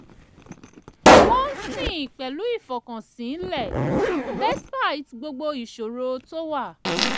wọ́n ń sìn pẹ̀lú ìfọkànsìn lẹ́ despite gbogbo ìṣòro tó wà